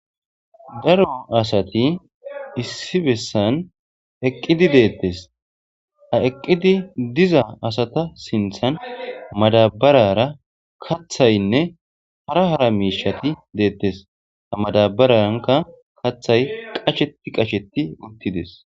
Darro assati issi bessani eqidi detesi, ha eqidi diza assata sinithani madabarara kathayinne hara hara mishati betesi ha maddabaranikka kathayi qasheti qasheti utisi